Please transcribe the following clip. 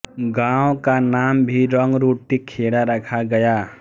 गांव का नाम भी रंगरूटी खेड़ा रखा गया